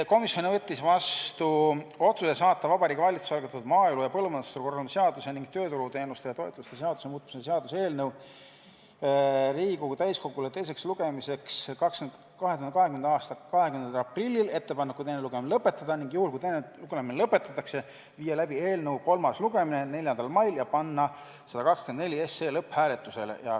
Komisjon võttis vastu otsuse saata Vabariigi Valitsuse algatatud maaelu ja põllumajandusturu korraldamise seaduse ning tööturuteenuste ja -toetuste seaduse muutmise seaduse eelnõu Riigikogu täiskogule teiseks lugemiseks k.a 20. aprilliks ettepanekuga teine lugemine lõpetada ning juhul, kui teine lugemine lõpetatakse, viia 4. mail läbi eelnõu kolmas lugemine ja panna eelnõu 124 lõpphääletusele.